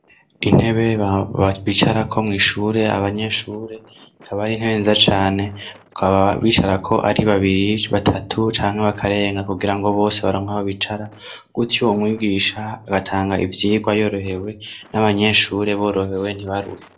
intebe bicarako mw'ishure ishure abanyeshure kaba ari intebe nziza cane bakaba bicara ko ari babiri batatu canke bakarenga kugira ngo bose baronke aho bicara gutyo umwigisha agatanga ivyirwa yorohewe n'abanyeshure borohewe ntibaruhe